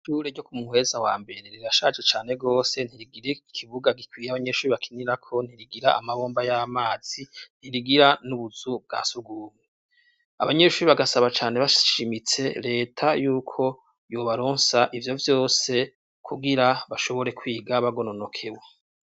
Ishure ryo Kumuheza wa mbere rirashaje cane gose ntirigire ikibuga gikwiye abanyeshure bakinirako ntirigira amabomba y'amazi ntirigira n'ubuzu bwa sugunmwe, abanyeshure bagasaba cane bashimitse leta yuko yobaronsa ivyo vyose kugira bashobore kwiga bagononokewe.